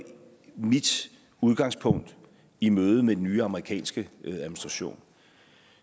mit udgangspunkt i mødet med den nye amerikanske administration